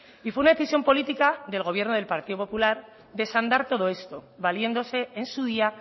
y fue una decisión política del gobierno del partido popular desandar todo esto valiéndose en su día